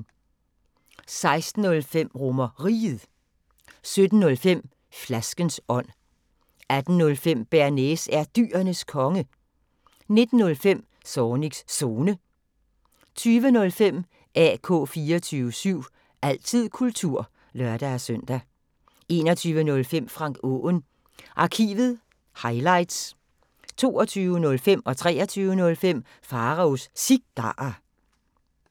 16:05: RomerRiget 17:05: Flaskens ånd 18:05: Bearnaise er Dyrenes Konge 19:05: Zornigs Zone 20:05: AK 24syv – altid kultur (lør-søn) 21:05: Frank Aaen Arkivet – highlights 22:05: Pharaos Cigarer 23:05: Pharaos Cigarer